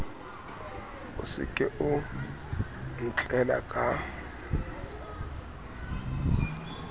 o se o ntlela ka